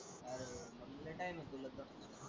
अर मग लय टाइम आहे तुला तसा.